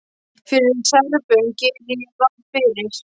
Fyrir Serbum geri ég ráð fyrir.